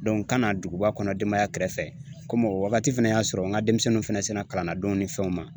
ka na duguba kɔnɔ denbaya kɛrɛfɛ komi o wagati fana y'a sɔrɔ n ka denmisɛnninw fana sera kalannadonw ni fɛnw ma